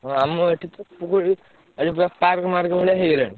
ହଁ ଆମ ଏଠି ତ ପୋଖରୀ ଏଠି ପୁରା park ମାର୍କ ଭଳିଆ ହେଇଗଲାଣି।